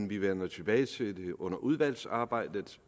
vi vender tilbage til det under udvalgsarbejdet